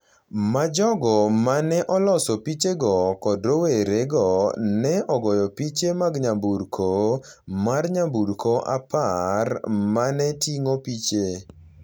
ma jogo ma ne oloso pichego kod rowerego ne ogoyo piche mag nyamburko mar nyamburko apar ma ne ting’o piche